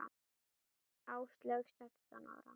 Áslaug sextán ára.